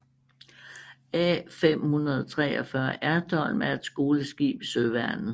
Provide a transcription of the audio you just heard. A543 Ertholm er et skoleskib i Søværnet